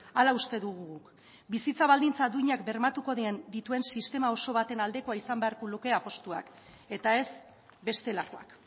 hala uste dugu guk bizitza baldintza duinak bermatuko dituen sistema oso baten aldekoa izan beharko luke apustuak eta ez bestelakoak